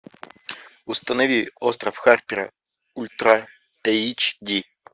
установи остров харпера ультра эйч ди